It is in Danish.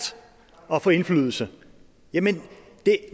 at få indflydelse jamen